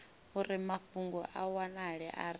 uri mafhungo a wanale arali